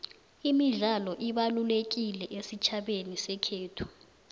imidlalo ibalululekile esitjhabeni sekhethu